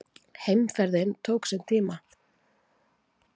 Heimferðin tók sinn tíma.